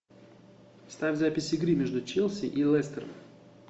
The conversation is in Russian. ставь запись игры между челси и лестером